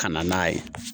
Ka na n'a ye